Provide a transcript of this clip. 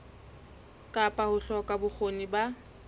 kapa ho hloka bokgoni ba